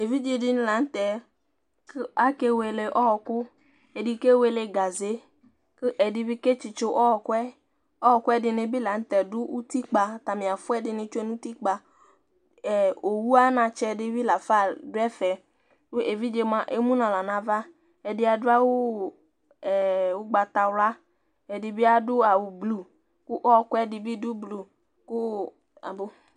Evidze ɖìŋí la ŋtɛ ake wele ɔku Ɛɖi kewele gaze kʋ ɛɖì bi ketsitso ɔkʋ'ɛ Ɛkʋɛ ɛɖìní bi la ŋtɛ ɖu ʋtikpa ataŋi afʋa ɛɖìní lɛ ŋu ʋtikpa Owu anatsɛ ɖìbí lafa ɖu ɛfɛ Evidze emu ŋu aɣla ŋu ava Ɛɖi aɖu awu ugbatawla ɛɖìbi aɖu awu blue kʋ ɔku ɛɖìbi ɖʋ blue